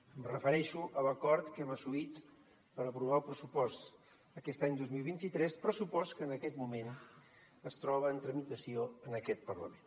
em refereixo a l’acord que hem assolit per aprovar el pressupost aquest any dos mil vint tres pressupost que en aquest moment es troba en tramitació en aquest parlament